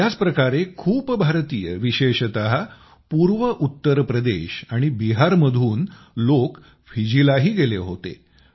याच प्रकारे खूप सारे भारतीय विशेषतः उत्तरप्रदेश आणि बिहारमधनं लोक फिजीलाही गेले होते